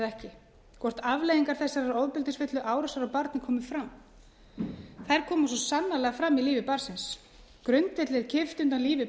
ekki hvort afleiðingar þessarar ofbeldisfullu árásar á barnið komi fram þær koma svo sannarlega fram í lífi barnsins grundvelli er kippt undan lífi